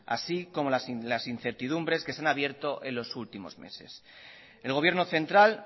así como las incertidumbres que se han abierto en los últimos meses el gobierno central